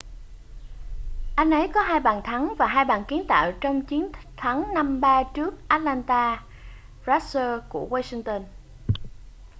anh ấy có 2 bàn thắng và 2 bàn kiến tạo trong chiến thắng 5-3 trước atlanta thrashers của washington